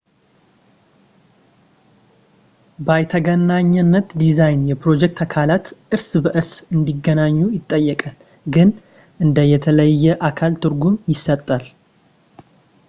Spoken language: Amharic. በይነተገናኝ ዲዛይን የፕሮጀክት አካላት እርስ በእርስ እንዲገናኙ ይጠይቃል ፣ ግን እንደ የተለየ አካል ትርጉም ይሰጣል